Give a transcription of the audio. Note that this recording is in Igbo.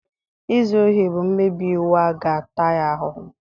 Izu ohi bụ mmebi iwu a ga-ata ya ahụhụ.